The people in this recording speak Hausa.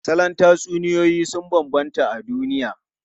Salon tatsuniyoyi sun bambanta a duniya.